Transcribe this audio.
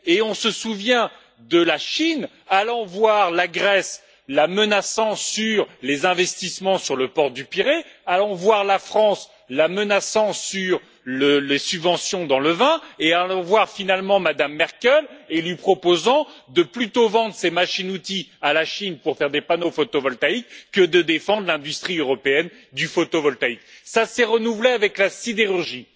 On se souvient de la Chine allant voir la Grèce, la menaçant sur les investissements sur le port du Pirée, allant voir la France, la menaçant sur les subventions dans le vin et, finalement, allant voir Mme Merkel et lui proposer de lui vendre ses machines outils pour faire des panneaux photovoltaïques plutôt que de défendre l'industrie européenne du photovoltaïque. Cela s'est renouvelé avec la sidérurgie.